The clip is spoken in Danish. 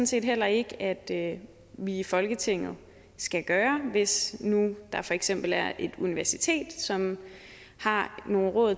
set heller ikke at vi i folketinget skal gøre hvis nu der for eksempel er et universitet som har nogle råd